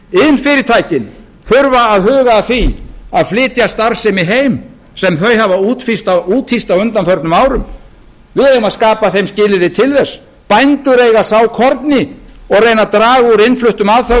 iðnfyrirtækin þurfa að huga að því að flytja starfsemi heim sem þau hafa úthýst á undanförnum árum við eigum að skapa þeim skilyrði til þess bændur eiga að sá korni og reyna að draga úr innfluttum aðföngum og